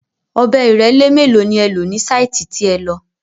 Ọ̀bẹ ìrẹ́lé mélòó ni ẹ lò ní sáìtì tí ẹ lọ?